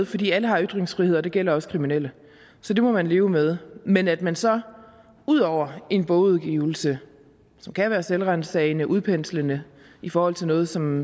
fordi alle har ytringsfrihed og det gælder også kriminelle så det må man leve med men at man så ud over en bogudgivelse som kan være selvransagende og udpenslende i forhold til noget som